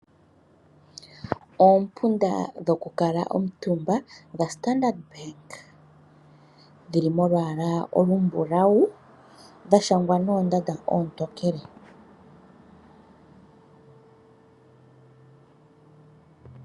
Oompunda dhokukala omutumba dhaStandard bank dhili molwala olumbulawu dha shangwa noondanda oontokele .